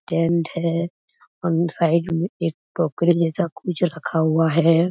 Tent हैं और side में एक टोकरी जैसा कुछ रखा हुआ हैं।